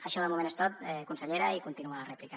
això de moment és tot consellera i continuo a la rèplica